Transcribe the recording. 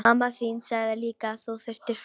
Mamma þín sagði líka að þú þyrftir frið.